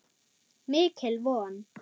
Mikil von.